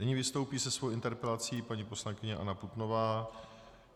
Nyní vystoupí se svou interpelací paní poslankyně Anna Putnová.